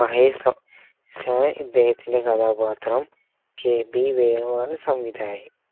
മഹേഷ് ആയിയാണ് ഇദ്ദേഹത്തിന്റെ കഥാപാത്രം kb വേണു ആണ് സംവിധയകൻ